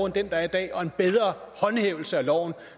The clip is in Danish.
den der er i dag og en bedre håndhævelse af loven